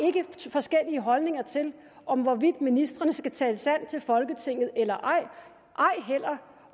forskellige holdninger til om ministrene skal tale sandt til folketinget eller ej ej heller